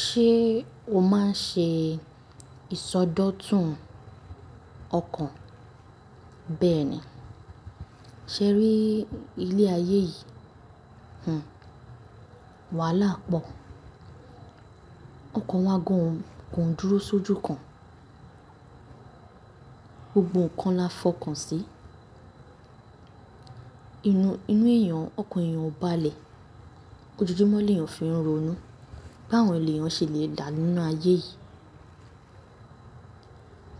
Ṣé o máa ń ṣe ìsọdọ̀tun ọkàn? Bẹ́ẹ̀ni. Ṣé ẹ rí ilé ayé yìí, hun, wàhálà pọ̀. Mo kàn wo ago oun, kò ń dúró sójú kan. Gbogbo nǹkan là fọkàn sí. Inú èèyàn, ọkàn èèyàn ò bá lẹ̀, ojoojúmọ́ léèyàn fi ń ronú, báwo ni èèyàn ṣe le dà nínú ayé yìí?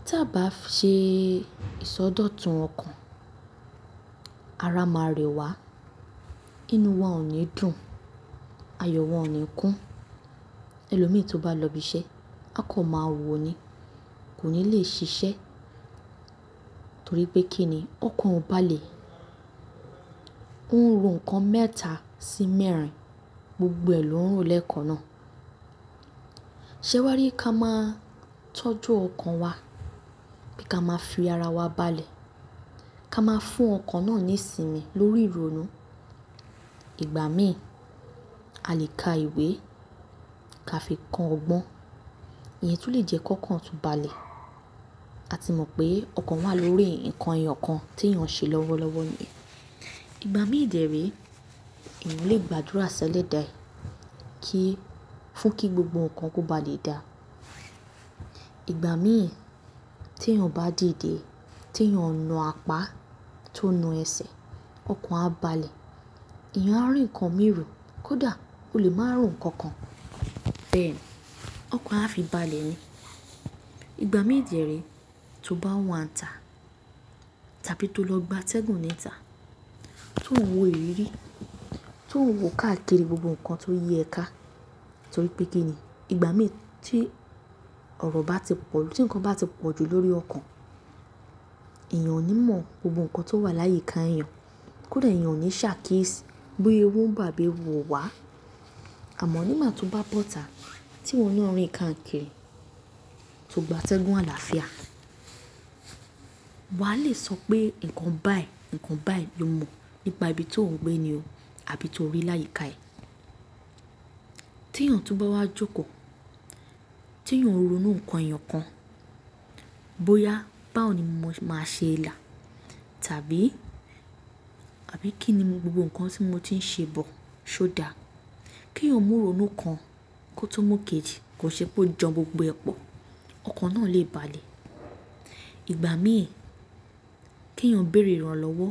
Ta a bá ṣe ìsọdọ̀tun ọkàn, ara máa rẹ wà, inú wa ò ní dùn, ayọ̀ wa ò ní kún. Ẹlòmíì tó bá lọ ibi iṣẹ́, a kọ̀ máa wò ó ni, kò ní le ṣiṣẹ́, torí pé kí ni, ọkàn ò bá lè, ó ń ro nǹkan mẹ́ta sí mẹ́rin, gbogbo ẹ̀ ló ń ro lè e kan náà. Ṣé wá rí ká máa tọ́jú ọkàn wa, pe ka a máa fi ara wa balẹ̀, ká máa fún ọkàn náà ní ìsinmi lórí ìronú. Ìgbà mi, a lè ka ìwé, ká fi kọ́ ọgbọ́n, ìyẹn tún lè jẹ́ kokan tun bá lẹ̀. A ti mọ̀ pé, ọkàn wà lórí nǹkan èèyàn kan tí èèyàn ń ṣe lọ́wọ́lọ́wọ́ ni. Ìgbà' mi de re, èyàn lè gba àdúrà ṣẹlẹda e, kí, fún kí gbogbo nǹkan kó ba lè da. Ìgbà' mi, tí èèyàn bá dìde, tí èèyàn náà apá, tó na ẹsẹ̀, ọkàn á balẹ̀, èèyàn á rí nǹkan imi ro, kódà ó lè máa ro nǹkan kan. Bẹ́ẹ̀ ni, ọkàn á fi balẹ̀ ni. Ìgbà' mi dẹ́ re, tó bá wa ǹ tá tàbí tó lọ gba atẹ́gùn níta, tó ń wo ìrírí, tó ń wo káàkiri gbogbo nǹkan tó yí ẹ ká, torí pé kínni, ìgbà'mì tí ọ̀rọ̀ bá ti pọ̀, tí nǹkan bá ti pọ̀jù lórí ọkàn, èèyàn ò ní mọ̀ gbogbo nǹkan tó wà láyi ká èèyàn, kódà èèyàn ò ní ṣàkíyèsí bóyá ewu ń bọ̀ àbí ewu ò wá. Àmọ́ nígbà tí wọ́n bá bọ́ta, tí iwọ́ na rìn káàkiri, tó gba atẹ́gùn àlàáfíà, wà á le sọ pé, nǹkan báyìí, nǹkan báyìí lo mọ̀ nípa ibi tó ń gbé ni o, àbí tó rí láyi ká ẹ. Tí èèyàn tó bá wá jókòó, tí èèyàn ń ronú nǹkan èèyàn kan, bóyá báwo ni mo máa ṣe là, tàbí, àbí kí ni gbogbo nǹkan tí mo ti ń ṣe bọ̀, ṣó dà? Kí èèyàn mú ìronú kan, kó tó mú ìkejì, kò ṣẹ́ pé ó jan gbogbo ẹ po, ọkàn náà lè balẹ̀. Ìgbà'mìí, kí èèyàn béèrè ìrànlọ́wọ́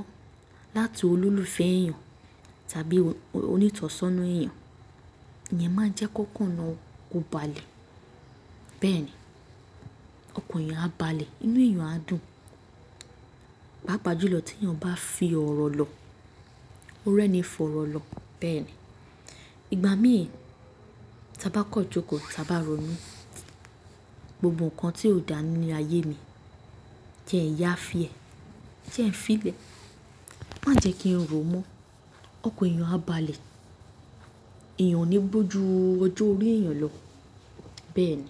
láti olólùfẹ́ èèyàn tàbí onítọ̀sọ́nà èèyàn, ìyẹn máa ń jẹ́ kankan náà, kó balẹ̀. Bẹ́ẹ̀ni, ọkàn èèyàn á balẹ̀, inú èèyàn á dùn. Páàpa júlọ tí èèyàn bá fi ọ̀rọ̀ lọ, ó rẹ́ni fọ̀rọ̀ lọ. Bẹ́ẹ̀ni, ìgbà'mìí, tí a bá kọ jókòó, ta bá ronú, gbogbo nǹkan tí ó dà ní'le ayé mi, jẹ ẹ̀ n yà fí ẹ, jẹ ẹ̀n fí lẹ̀, má jẹ́ kí n ro mọ́, ọkàn èèyàn á balẹ̀, èèyàn ò ní gbó jú ọjọ́ orí èèyàn lọ. Bẹ́ẹ̀ni.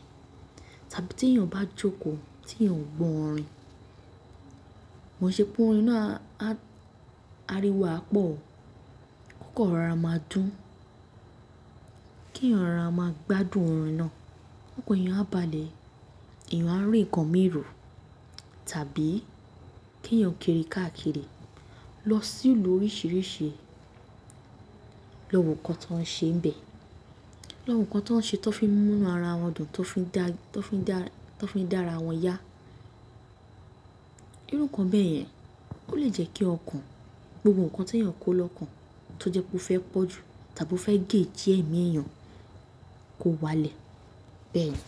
Tàbí tí èèyàn bá jókòó, tí èèyàn ń gbọ́ orin, kò ṣẹ́ pé orin náà, a, áriwo ẹ̀ a pọ̀, kó kan rọra máa dùn, kí ẹ̀yàn rọra máa gbádùn orin náà, ọkàn èèyàn á balẹ̀ r, èèyàn á rí nǹkan imi ro, tàbí kí èèyàn kiri káàkiri, lọ sí ìlú oríṣìíríṣìí, lọ wo nǹkan tó ń ṣe ń bẹ̀, lọ wo nǹkan tó ń ṣe, tó fi ń mú'nú ara wọn dùn, tó fi ń dá, tó fi ń dá, tó fi ń dá ara wọn yá. Irú nǹkan bẹ́ẹ̀ yẹn, ó lè jẹ́ kí ọkàn, gbogbo nǹkan tí èèyàn kó lọ́kàn tó jẹ́ pé ó fẹ́ pọ̀ jù tàbí ó fẹ́ gé ji ẹ̀mí èèyàn, kó wá'lẹ̀. Bẹ́ẹ̀ni.